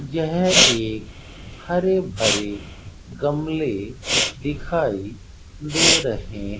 यह एक हरे भरे गमले दिखाई दे रहे --